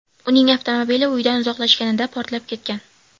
Uning avtomobili uyidan uzoqlashganida portlab ketgan.